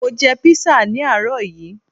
Mo jẹ písà ní àárọ̀ yií